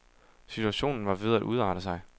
Situationen var ved at udarte sig.